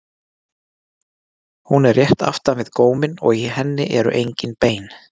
hún er rétt aftan við góminn og í henni eru engin bein